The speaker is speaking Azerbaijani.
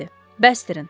bəsdirin.